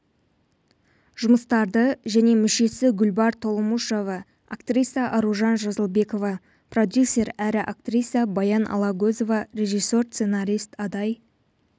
жұмыстарды және мүшесі гүлбар толомушова актриса аружан жазылбекова продюсер әрі актриса баян алагөзова режиссер сценарист адай